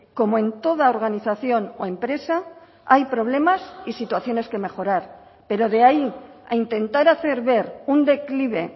como en toda organización o empresa hay problemas y situaciones que mejorar pero de ahí a intentar hacer ver un declive